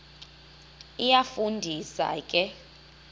iyafu ndisa ke